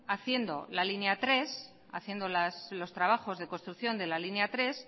haciendo la línea tres haciendo los trabajos de construcción de la línea tres